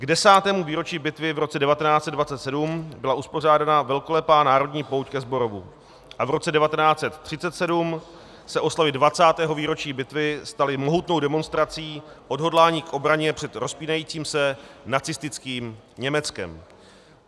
K desátému výročí bitvy v roce 1927 byla uspořádána velkolepá národní pouť ke Zborovu a v roce 1937 se oslavy 20. výročí bitvy staly mohutnou demonstrací odhodlání k obraně před rozpínajícím se nacistickým Německem.